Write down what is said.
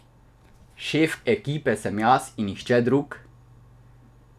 Šef ekipe sem jaz in nihče drug!